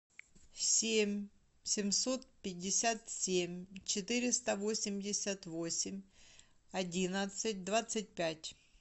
семь семьсот пятьдесят семь четыреста восемьдесят восемь одиннадцать двадцать пять